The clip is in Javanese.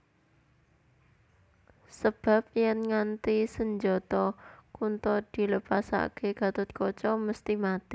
Sebab yèn nganti senjata Kunta dilepasaké Gathotkaca mesthi mati